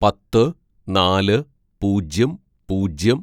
"പത്ത് നാല് പൂജ്യം പൂജ്യം